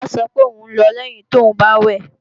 Kọ́lá sọ pé ò ń lọ lẹ́yin tóùn bá wẹ̀